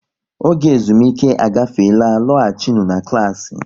Oge ezumike agafeela, lọghachinu na klassị!